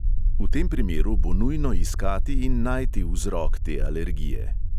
V tem primeru bo nujno iskati in najti vzrok te alergije.